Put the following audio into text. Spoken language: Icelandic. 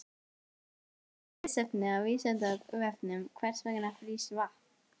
Frekara lesefni af Vísindavefnum Hvers vegna frýs vatn?